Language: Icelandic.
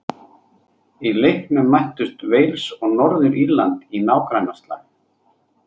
Í leiknum mættust Wales og Norður-Írland í nágrannaslag.